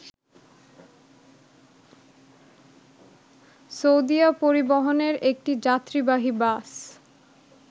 সৌদিয়া পরিবহনের একটি যাত্রীবাহী বাস